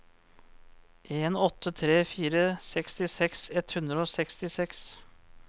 en åtte tre fire sekstiseks ett hundre og sekstiseks